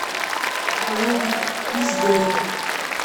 боевик изгой